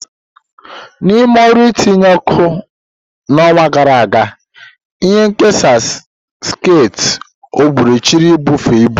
N'ime ọrụ itinye oku n'ọnwa gara aga, ihe nkesa sekit gbochiri ibufe ibu.